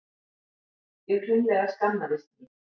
Ég hreinlega skammaðist mín.